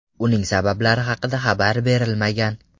Uning sabablari haqida xabar berilmagan.